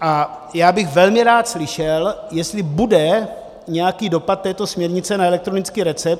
A já bych velmi rád slyšel, jestli bude nějaký dopad této směrnice na elektronický recept.